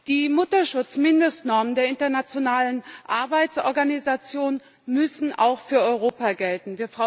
Die Mutterschutzmindestnormen der Internationalen Arbeitsorganisation müssen auch für Europa gelten.